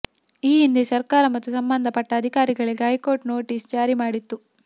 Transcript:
ಈ ಹಿಂದೆ ಸರ್ಕಾರ ಮತ್ತು ಸಂಬಂಧ ಪಟ್ಟ ಅಧಿಕಾರಿಗಳಿಗೆ ಹೈಕೋರ್ಟ್ ನೋಟಿಸ್ ಜಾರಿ ಮಾಡಿತ್ತು